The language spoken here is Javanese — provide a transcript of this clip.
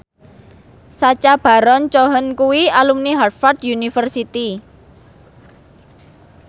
Sacha Baron Cohen kuwi alumni Harvard university